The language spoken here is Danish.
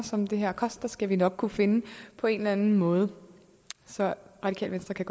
som det her koster skal vi nok kunne finde på en eller anden måde så radikale venstre kan